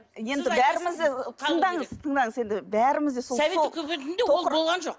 енді бәрімізді тыңдаңыз тыңдаңыз енді бәріміз де сол совет үкіметінде ол болған жоқ